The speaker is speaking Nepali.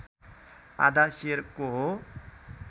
आधा सेरको हो